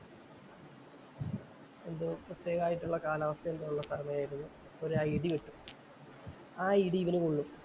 എന്തോ പ്രത്യേകം ആയിട്ടുള്ള കാലാവസ്ഥ എന്തോ ഉള്ള സമയം ആരുന്നു. ഒരു ആ ഇടി വെട്ടി. ആ ഒരു ഇടി ഇവന് കൊള്ളും.